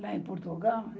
Lá em Portugal?